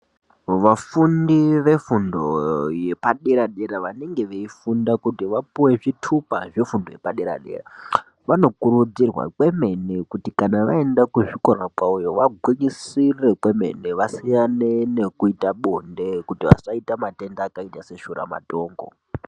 Vafundi vefundo yepaderadera vanenge veifunda kuti vapuwe zvitupa zvefundo yepaderadera vanokurudzirwa kwemene kuti kana vaenda kuzvikora kwawoyo vagwinyisire kwemene vasiyane nekuita bonde kuti vasaita matenda akaita seshuramatongo.